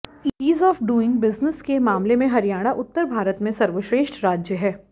ease of doing business के मामले में हरियाणा उत्तर भारत में सर्वश्रेष्ठ राज्य है